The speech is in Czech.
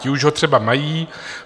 Ti už ho třeba mají.